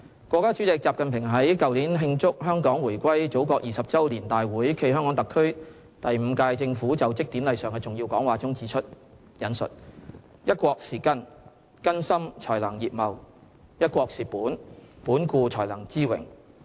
國家主席習近平在去年慶祝香港回歸祖國20周年大會暨香港特區第五屆政府就職典禮上的重要講話中指出："'一國'是根，根深才能葉茂；'一國'是本，本固才能枝榮。